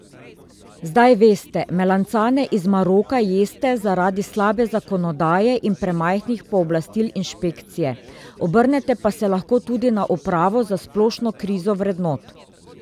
Zdaj veste, melancane iz Maroka jeste zaradi slabe zakonodaje in premajhnih pooblastil inšpekcije, obrnete pa se lahko tudi na upravo za splošno krizo vrednot.